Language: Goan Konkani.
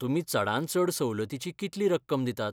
तुमी चडांत चड सवलतीची कितली रक्कम दितात?